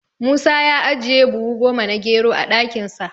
Musa ya ajiye buhu goma na gero a ɗakinsa.